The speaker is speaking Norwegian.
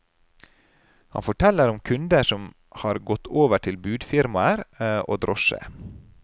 Han forteller om kunder som har gått over til budfirmaer og drosje.